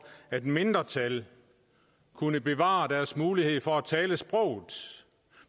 at mindretal kunne bevare deres mulighed for at tale sproget